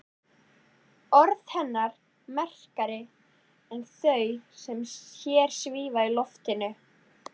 Orð hennar merkari en þau sem hér svífa í loftinu.